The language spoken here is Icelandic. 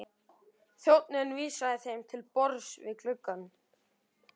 Þjónninn vísaði þeim til borðs við gluggann.